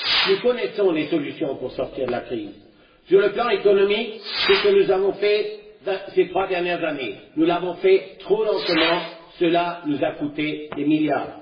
Nous connaissons les solutions pour sortir de la crise. Sur le plan économique, ce que nous avons fait ces trois dernières années, nous l'avons fait trop lentement, et cela nous a coûté des milliards.